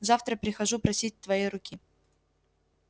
завтра прихожу просить твоей руки